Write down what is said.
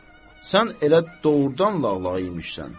Sən elə doğurdan lağlağı imişsən.